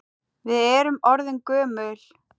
Við erum orðin gömul.